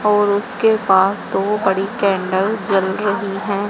और उसके पास दो बड़ी कैंडल जल रही हैं।